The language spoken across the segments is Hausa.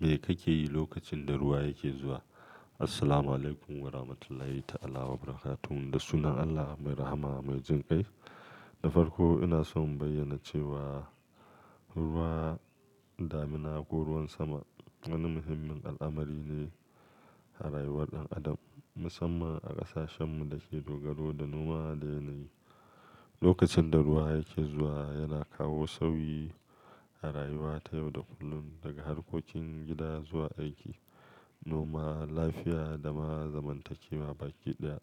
Me kake yi lokacin da ruwa yake zuwa? Assalamu alaikum wa rahmatullahi ta'ala wa barakatuhu. Da sunan Allah mai rahama mai jinƙai. Da farko ina so in bayyana cewa ruwa, damina ko ruwan sama wani muhimmin al'amari ne a rayuwar ɗan adam, musamman a ƙasashenmu da ke dogaro da noma da yanayi. Lokacin da ruwa yake zuwa yana kawo sauyi a rayuwa ta yau da kullun, daga harkokin gida zuwa aiki, noma, lafiya da ma zamantakewa baki ɗaya.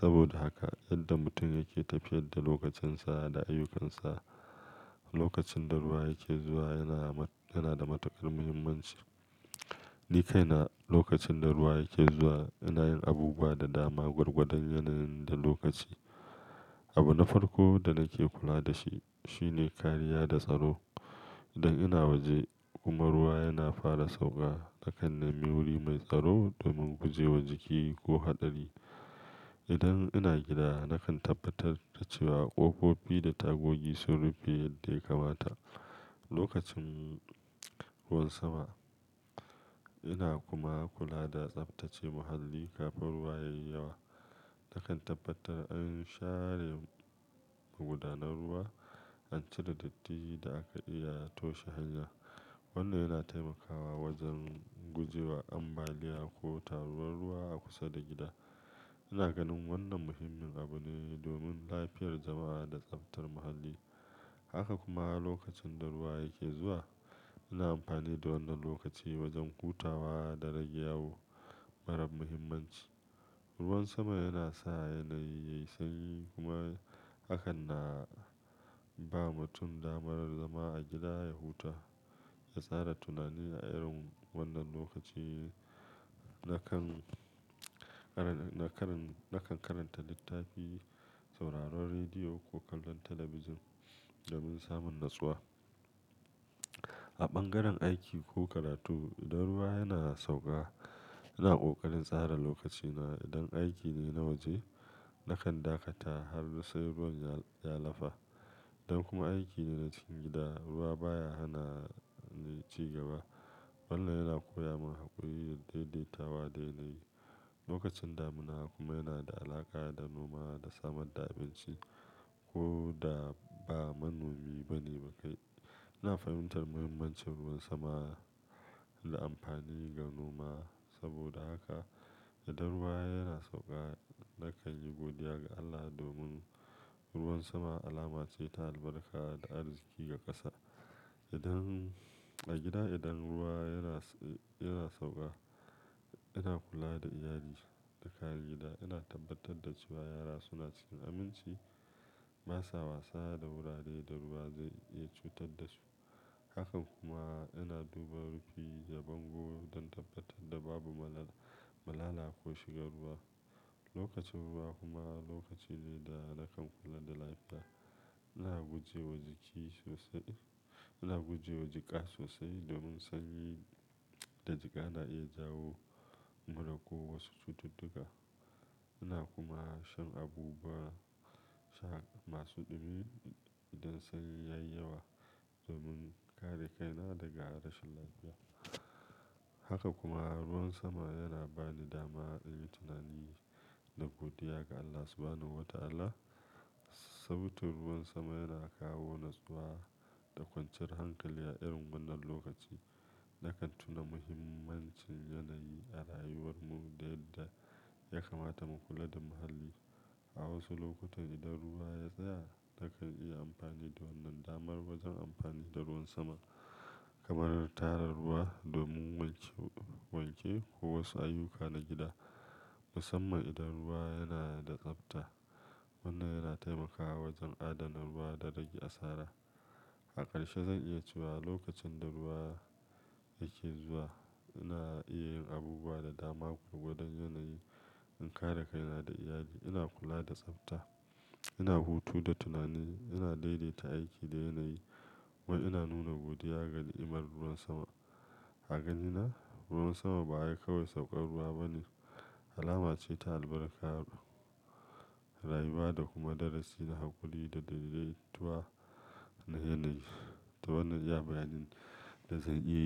Saboda haka yadda mutum yake tafiyar da lokacinsa da ayyukansa lokacin da ruwa yake zuwa yana yana da matuƙar muhimmanci. Ni kaina lokacin da ruwa yake zuwa ina yin abubuwa da dama gwargwadon yanayin da lokaci. Abu na farko da nake kula da shi shine kariya da tsaro. Idan ina waje kuma ruwa yana fara sauƙa nakan nemi wuri mai tsaro domin guje wa jiki ko haɗari. Idan ina gida nakan tabbatar da cewa ƙofofi da tagogi sun rufe yadda ya kamata. Lokacin ruwan sama ina kuma kula da tsabtace muhalli kafin ruwa yayi yawa. Nakan tabbatar an share gudanar ruwa, an cire datti da aka iya toshe hanyar. Wannan yana taimakawa wajen guje wa ambaliya ko taruwar ruwa a kusa da gida. Ina ganin wannan muhimmin abu ne domin lafiyar jama'a da tsaftar muhalli. Haka kuma lokacin da ruwa yake zuwa ina amfani da wannan lokaci wajen hutawa da rage yawu marar muhimmanci. Ruwan sama yana sa yanayi yayi sanyi kuma hakan na ba mutum damar zama a gida ya huta, ya tsara tunani a irin wannan lokaci. Nakan nakan nakan karanta littafi, sauraron rediyo ko kallon talabijin domin samun natsuwa. A ɓangaren aiki ko karatu idan ruwa yana sauƙa ina ƙoƙarin tsara lokacina. Idan aiki ne na waje nakan dakata har sai ruwan ya lafa. Idan kuma aiki ne na cikin gida ruwa baya hana ni cigaba. Wannan yana koya min haƙuri da daidaitawa dai dai. Lokacin damina kuma yana da alaƙa da noma da samar da abinci ko da ba manomi bane ba kai. Ina fahimtar muhimmancin ruwan sama da amfani ga noma. Saboda haka idan ruwa yana sauƙa nakan yi godiya ga Allah domin ruwan sama alama ce ta albarka da arziƙi ga ƙasa. Idan a gida idan ruwa yana yana sauƙa ina kula da iyali da kayan gida. Ina tabbatar da cewa yara suna cikin aminci, ba sa wasa da wurare da ruwa zai ya cutar da su. Hakan kuma ina duba rufi da bango don tabbatar da babu malala malala ko shigar ruwa. Lokacin ruwa kuma lokaci ne da nakan kula da lafiya. Ina guje wa jiki sosai-- ina guje wa jika sosai domin sanyi da jika na iya jawo mura ko wasu cututtuka. Ina kuma shan abubuwa sha masu ɗumi idan sanyi yayi yawa domin kare kaina daga rashin lafiya. Haka kuma ruwan sama yana ba ni dama in yi tunani da godiya ga Allah subhanahu wa ta'ala. Sautin ruwan sama yana kawo natsuwa da kwanciyar hankali a irin wannan lokaci. Nakan tuna muhimmancin yanayi a rayuwar mu da yadda ya kamata mu kula da muhalli. A wasu lokutan idan ruwa ya tsaya nakan yi amfani da wannan dama wajen amfani da ruwan sama kamar tarar ruwa domin wanke wanke ko wasu ayyuka na gida, musamman idan ruwa yana da tsafta. Wannan yana taimakawa wajen adana ruwa da rage asara. A ƙarshe zan iya cewa lokacin da ruwa yake zuwa ina iya yin abubuwa da dama gwargwadon yanayi in kare kaina da iyali. Ina kula da tsafta, ina hutu da tunani, ina daidaita aiki da yanayi kuma ina nuna godiya ga ni'imar ruwan sama. A ganina ruwan sama ba kai kawai sauƙar ruwa bane, alama ce ta albarka, rayuwa da kuma darasi na haƙuri da daidaituwa na yanayi. To wannan iya bayanin da zan iya yi.